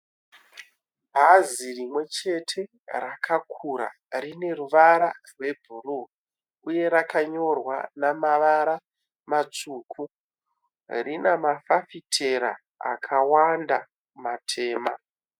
Bhazi rimwechete rakakura rineruvara rwebhuruwu, uye rakanyorwa nemavara matsvuku. Rine mafafitera akawanda matema.